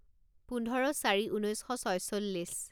পোন্ধৰ চাৰি ঊনৈছ শ ছয়চল্লিছ